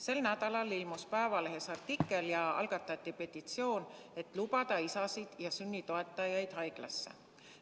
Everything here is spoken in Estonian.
Sel nädalal ilmus Päevalehes artikkel ja algatati petitsioon, et lubada isasid ja teisi sünni toetajaid haiglasse.